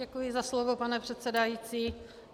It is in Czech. Děkuji za slovo, pane předsedající.